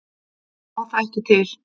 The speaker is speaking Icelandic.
Ég á það ekki til.